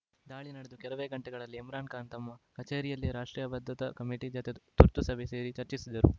ದಾಳಿ ನಡೆದು ಕೆಲವೇ ಗಂಟೆಗಳಲ್ಲಿ ಇಮ್ರಾನ್‌ ಖಾನ್‌ ತಮ್ಮ ಕಚೇರಿಯಲ್ಲೇ ರಾಷ್ಟ್ರೀಯ ಭದ್ರತಾ ಕಮಿಟಿ ಜತೆ ತುರ್ತು ಸಭೆ ಸೇರಿ ಚರ್ಚಿಸಿದರು